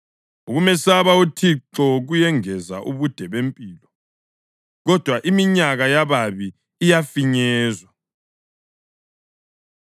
Ukumesaba uThixo kuyengeza ubude bempilo, kodwa iminyaka yababi iyafinyezwa.